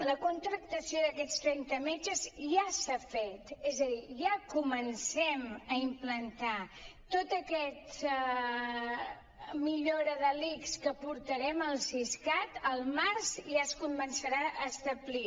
la contractació d’aquests trenta metges ja s’ha fet és a dir ja comencem a implantar tota aquesta millora de l’ics que portarem al siscat al març ja es començarà a establir